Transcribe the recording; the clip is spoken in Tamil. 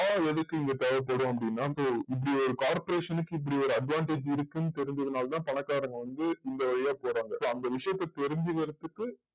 எதுக்கு தேவைப்படும் அப்டினா இப்படி ஒரு corporation க்கு இப்படி ஒரு advantage இருக்கு னு தெரிஞ்சது நாளதா பணகாரவங்க வந்து இந்த போறாங்க அந்த விசயாத்த தெரிஞ்சிகிரதுக்கு